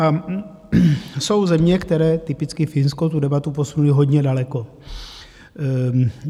A jsou země, které - typicky Finsko - tu debatu posunuly hodně daleko.